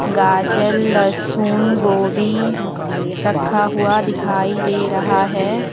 गाजर लहसुन गोभी रखा हुआ दिखाई दे रहा है।